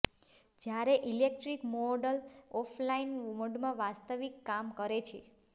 જ્યારે electric model offline મોડમાં વાસ્તવિક કામ કરે છે